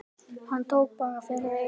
Hann tók bara fyrir eyrun!